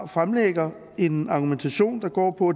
fremlægger en argumentation der går på